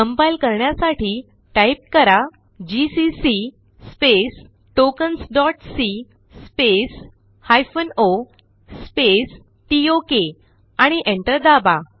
compile करण्यासाठी type करा GCC tokensसी o टोक आणि Enter दाबा